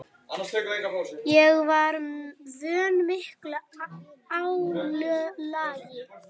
Ég var vön miklu álagi.